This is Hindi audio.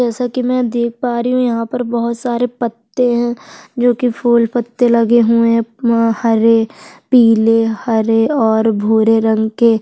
जैसा की मैं देख पा रही हूँ यहाँ पर बहोत सारे पत्ते है जो की फूल पत्ते लगे हुए है हरे पिले हरे और भूरे रंग के--